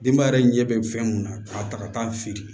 Denba yɛrɛ ɲɛ bɛ fɛn mun na k'a ta ka taa feere